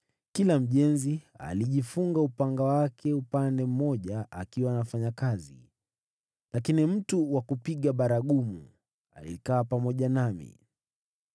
na kila mjenzi alijifunga upanga wake upande mmoja akiwa anafanya kazi. Lakini mtu wa kupiga baragumu alikaa pamoja nami.